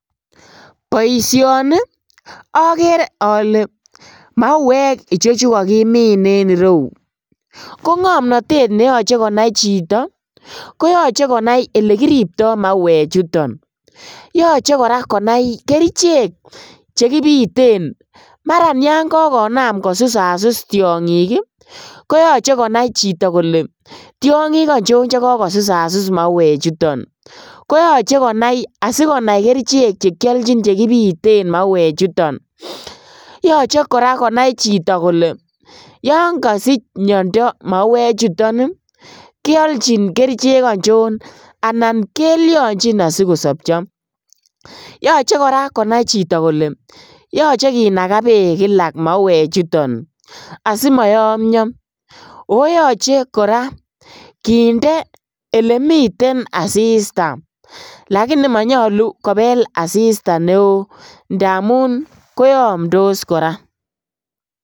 Boisioni okere ole mauek ichechu kakimin en ireu ko ngomnotet neyoche konai chito, koyoche konai elekiripto mauechuton, yoche konai koraa kerichek chekibiten maran yon kokonam kosusasus tiongik ii koyoche konai chito kole tiongik ochon che kokosusasus mauechuton, koyoche konai asikiolchi kerichek chekibiten mauechuton, yoche konai chito koraa kole yon kosich miondo mauechuton ii keolchin kerichek ochon anan kelionchin asikosobcho, yoche konai chito koraa kole yoche kinakaa beek ii kilak mauechuton asimoyomio, oo yoche koraa kinde elemiten asista lakini monyolu kobel asista neo ndamun koyomtos koraa.